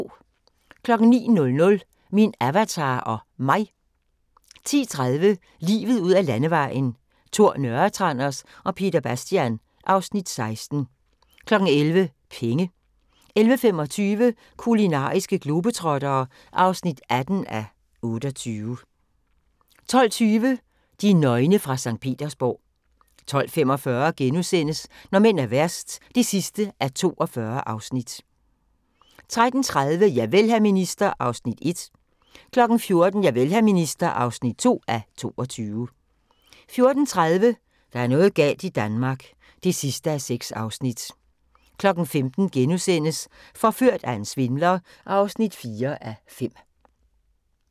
09:00: Min Avatar og Mig 10:30: Livet ud ad Landevejen: Tor Nørretranders og Peter Bastian (Afs. 16) 11:00: Penge 11:25: Kulinariske globetrottere (18:28) 12:20: De nøgne fra Skt. Petersborg 12:45: Når mænd er værst (42:42)* 13:30: Javel, hr. minister (1:22) 14:00: Javel, hr. minister (2:22) 14:30: Der er noget galt i Danmark (6:6) 15:00: Forført af en svindler (4:5)*